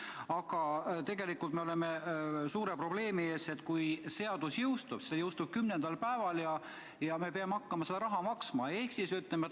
Aga tegelikult me oleme suure probleemi ees, kui seadus kümnendal päeval jõustub ja me peame hakkama seda raha maksma.